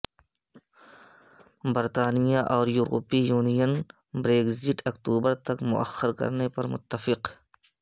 برطانیہ اور یورپی یونین بریگزٹ اکتوبر تک موخر کرنے پر متفق